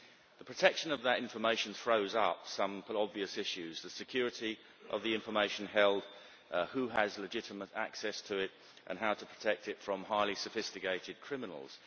The protection of that information throws up some obvious issues the security of the information held, who has legitimate access to it and how to protect it from highly sophisticated criminals.